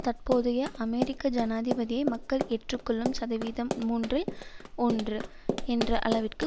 தற்போதைய அமெரிக்க ஜனாதிபதியை மக்கள் எற்றுக் கொள்ளும் சதவீதம் மூன்றில் ஒன்று என்ற அளவிற்கு